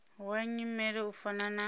wa nyimele u fana na